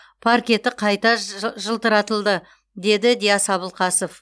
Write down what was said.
паркеті қайта жылтыратылды деді диас абылқасов